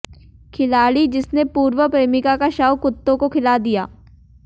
खिलाड़ी जिसने पूर्व प्रेमिका का शव कुत्तों को खिला दिया